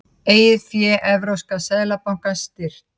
Eigið fé Evrópska seðlabankans styrkt